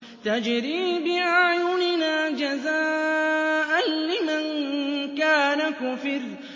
تَجْرِي بِأَعْيُنِنَا جَزَاءً لِّمَن كَانَ كُفِرَ